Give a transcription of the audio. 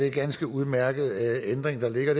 en ganske udmærket ændring der ligger